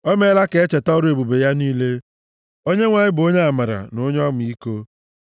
O meela ka e cheta ọrụ ebube ya niile; Onyenwe anyị bụ onye amara na onye ọmịiko.